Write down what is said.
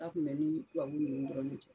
A tun bɛ n ni tubabu ninnu dɔrɔn de cɛ